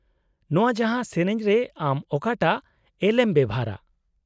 -ᱱᱚᱶᱟ ᱡᱟᱦᱟᱸ, ᱥᱮᱹᱨᱮᱹᱧ ᱨᱮ ᱟᱢ ᱚᱠᱟᱴᱟᱜ ᱮᱞᱷ ᱮᱢ ᱵᱮᱣᱦᱟᱨᱟ ?